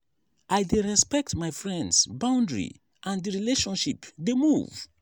i dey respect my friends boundary and di relationship dey move.